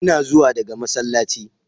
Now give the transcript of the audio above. Ina zuwa daga masallaci.